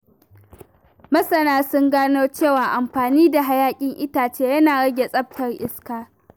Masana sun gano cewa amfani da hayaƙin itace yana rage tsaftar iska.